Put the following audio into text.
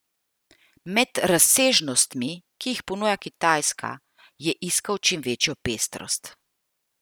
Med razsežnostmi, ki jih ponuja Kitajska, je iskal čim večjo pestrost.